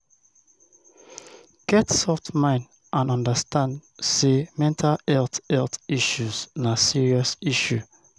Get soft mind and understand sey mental health health issues na serious issue